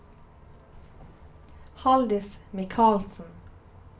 Haldis Mikalsen